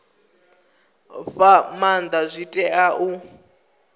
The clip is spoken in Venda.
fha maanda zwi tea u